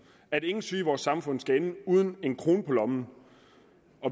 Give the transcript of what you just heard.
at ingen syge i vores samfund skal ende uden en krone på lommen